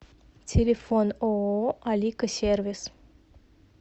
телефон ооо алика сервис